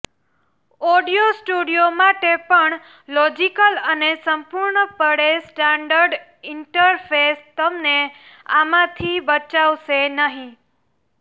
audio studio માટે પણ logical અને સંપૂર્ણપણે સ્ટાન્ડર્ડ ઇન્ટરફેસ તમને આમાંથી બચાવશે નહીં